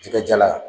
Jikajala